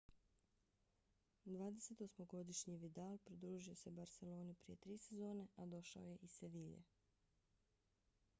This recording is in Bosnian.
28-godišnji vidal pridružio se barseloni prije tri sezone a došao je iz sevilje